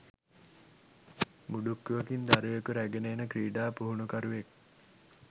මුඩුක්කුවකින් දරුවෙකු රැගෙන එන ක්‍රීඩා පුහුණුකරුවෙක්